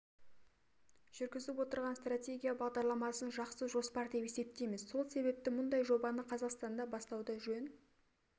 жүргізіп отырған стратегия бағдарламасын жақсы жоспар деп есептейміз сол себепті мұндай жобаны қазақстанда бастауды жөн